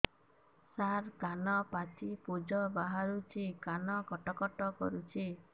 ସାର କାନ ପାଚି ପୂଜ ବାହାରୁଛି କାନ କଟ କଟ କରୁଛି